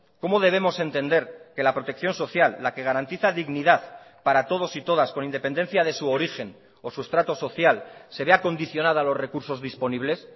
cómo debemos entender que la protección social la que garantiza dignidad para todos y todas con independencia de su origen o su estrato social se vea condicionada a los recursos disponibles